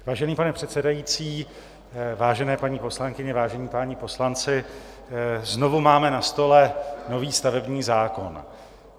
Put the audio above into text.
Vážený pane předsedající, vážené paní poslankyně, vážení páni poslanci, znovu máme na stole nový stavební zákon.